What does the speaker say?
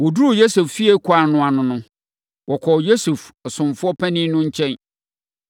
Wɔduruu Yosef fie kwan no ano no, wɔkɔɔ Yosef ɔsomfoɔ panin no nkyɛn.